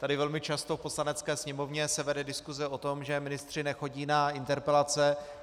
Tady velmi často v Poslanecké sněmovně se vede diskuse o tom, že ministři nechodí na interpelace.